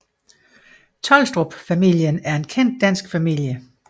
Tholstrup familien er en kendt dansk familie